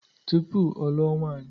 Tụpụ ọ lụọ nwaanyi..